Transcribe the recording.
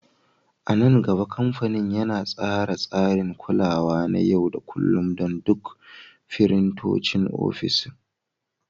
A nan gaba, kamfanin yana tsara tsarin kulawa na yau da kullun don duk firintocin ofis.